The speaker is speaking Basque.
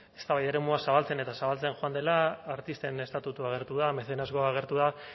eztabaida eremua zabaltzen eta zabaltzen joan dela artisten estatutua agertu da mecenazgoa agertu da